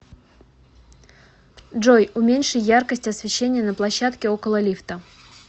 джой уменьши яркость освещения на площадке около лифта